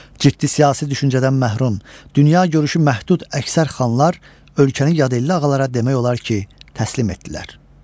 Ciddi siyasi düşüncədən məhrum, dünya görüşü məhdud əksər xanlar ölkəni yadelli ağalara demək olar ki, təslim etdilər.